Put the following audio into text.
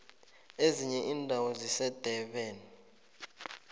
ezinye indawo zisendabeni